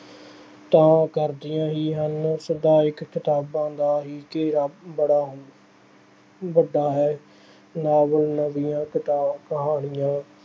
ਤਾਂ ਕਰਦੀਆਂ ਹੀ ਹਨ। ਸਾਹਿਤਕ ਕਿਤਾਬਾਂ ਦਾ ਹੀ ਘੇਰਾ ਬੜਾ ਅਹ ਵੱਡਾ ਹੈ। ਨਾਵਲ, ਨਵੀਆਂ ਕ ਅਹ ਕਹਾਣੀਆਂ